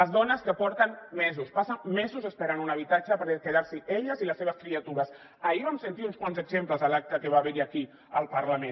les dones que porten mesos passen mesos esperant un habitatge per quedar s’hi elles i les seves criatures ahir en vam sentir uns quants exemples a l’acte que va haver hi aquí al parlament